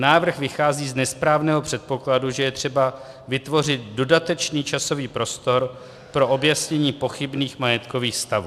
Návrh vychází z nesprávného předpokladu, že je třeba vytvořit dodatečný časový prostor pro objasnění pochybných majetkových stavů.